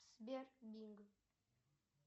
сбер бинг